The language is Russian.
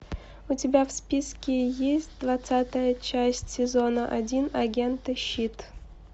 у тебя в списке есть двадцатая часть сезона один агенты щит